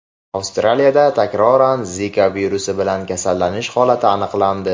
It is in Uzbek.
Avstraliyada takroran Zika virusi bilan kasallanish holati aniqlandi.